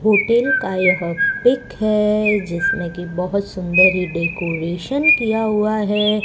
Hotel का यह pic है जिसमें की बहोत सुंदर ये डेकोरेशन किया हुआ है।